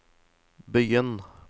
begynn